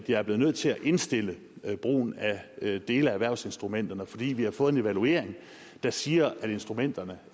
jeg er blevet nødt til at indstille brugen af dele af erhvervsinstrumenterne fordi vi har fået en evaluering der siger at instrumenterne